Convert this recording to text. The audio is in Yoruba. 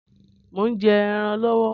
Mò ń jẹ́ ẹran lọwọ